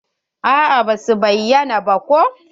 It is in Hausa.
A'a basu bayyana ba ko.